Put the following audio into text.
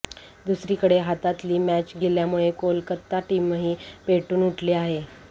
दुसरीकडे हातातली मॅच गेल्यामुळे कोलकाता टीमही पेटून उठली आहे